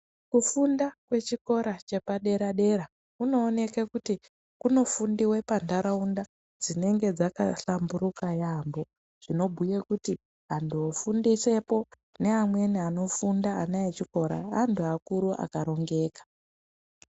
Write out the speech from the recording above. Kufunda kwechikora chepadera dera kunooneke kuti kunofundiwa pantharaunda dzinenge dzakahlamburika yaambo zvinogwinya kuti anthu ofundisepo n neamweni anofunda ana echikora anthu akuru akarongeka.